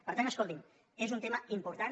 per tant escoltin és un tema important